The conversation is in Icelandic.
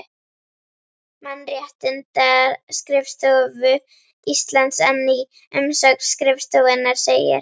Mannréttindaskrifstofu Íslands en í umsögn skrifstofunnar segir